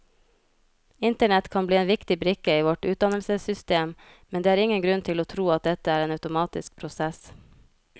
Internett kan bli en viktig brikke i vårt utdannelsessystem, men det er ingen grunn til å tro at dette er en automatisk prosess.